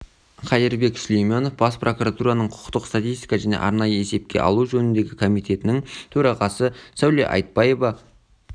қайырбек сүлейменов бас прокуратураның құқықтық статистика және арнайы есепке алу жөніндегі комитетінің төрағасы сәуле айтпаева